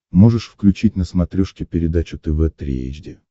можешь включить на смотрешке передачу тв три эйч ди